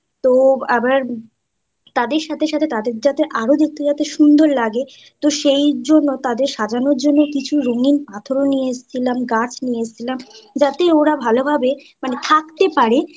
তাদের সাথে সাথে তাদের যাতে আরো দেখতে যাতে সুন্দর লাগে তো সেইজন্য তাদের সাজানোর জন্য কিছু রঙিন পাথর নিয়ে এসেছিলাম। গাছ নিয়ে এসছিলাম যাতে ওরা ভালোভাবে noise থাকতে পারে